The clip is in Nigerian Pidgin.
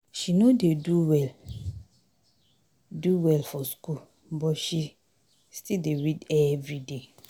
She no dey do well do well for skool but she still dey read everyday.